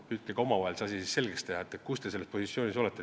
Püüdke omavahel selgeks teha, mis positsioonil te olete.